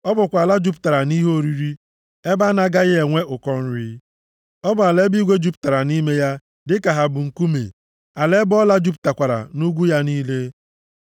Ọ bụkwa ala jupụtara nʼihe oriri, ebe a na-agaghị enwe ụkọ nri. Ọ bụ ala ebe igwe jupụtara nʼime ya dị ka ha bụ nkume, ala ebe ọla jupụtakwara nʼugwu ya niile.